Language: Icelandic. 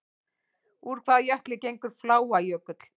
Úr hvaða jökli gengur Fláajökull?